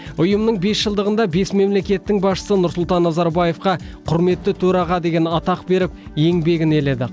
ұйымның бесжылдығында бес мемлекеттің басшысы нұрсұлтан назарбаевқа құрметті төраға деген атақ беріп еңбегін еледі